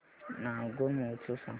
नागौर महोत्सव सांग